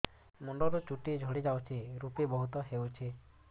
ମୁଣ୍ଡରୁ ଚୁଟି ଝଡି ଯାଉଛି ଋପି ବହୁତ ହେଉଛି